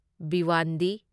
Bhiwandi